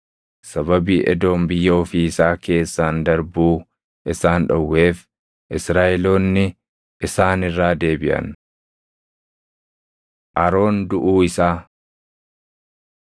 Sababii Edoom biyya ofii isaa keessaan darbuu isaan dhowweef Israaʼeloonni isaan irraa deebiʼan. Aroon Duʼuu Isaa